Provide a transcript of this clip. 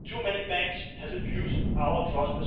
Too many banks have abused our trust.